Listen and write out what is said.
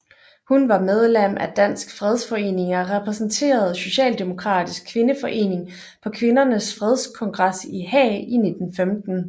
Hun var medlem af Dansk Fredsforening og repræsenterede Socialdemokratisk Kvindeforening på Kvindernes Fredskongres i Haag i 1915